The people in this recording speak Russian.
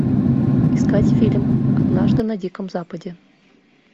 искать фильм однажды на диком западе